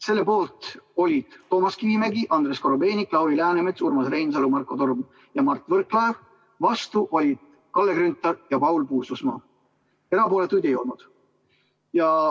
Selle poolt olid Toomas Kivimägi, Andrei Korobeinik, Lauri Läänemets, Urmas Reinsalu, Marko Torm ja Mart Võrklaev, vastu olid Kalle Grünthal ja Paul Puustusmaa, erapooletuid ei olnud.